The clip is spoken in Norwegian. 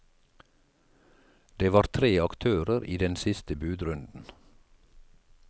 Det var tre aktører i den siste budrunden.